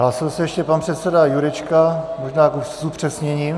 Hlásí se ještě pan předseda Jurečka, možná s upřesněním.